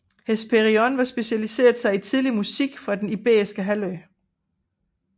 Hesperion har specialiseret sig i tidlig musik fra Den Iberiske Halvø